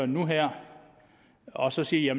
nu her og så sige at